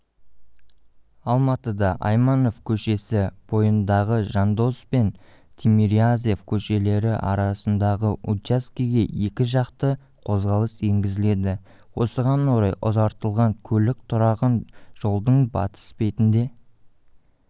алматыда айманов көшесі бойындағы жандосов пен тимирязев көшелері арасындағы учаскеге екі жақты қозғалыс енгізіледі осыған орай ұзартылған көлік тұрағын жолдың батыс бетінде